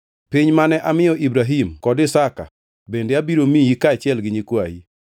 Piny mane amiyo Ibrahim kod Isaka bende abiro miyi kaachiel gi nyikwayi.”